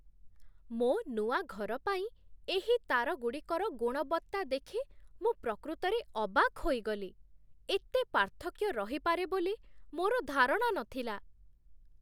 ମୋ ନୂଆ ଘର ପାଇଁ ଏହି ତାରଗୁଡ଼ିକର ଗୁଣବତ୍ତା ଦେଖି ମୁଁ ପ୍ରକୃତରେ ଅବାକ୍ ହୋଇଗଲି। ଏତେ ପାର୍ଥକ୍ୟ ରହିପାରେ ବୋଲି ମୋର ଧାରଣା ନଥିଲା!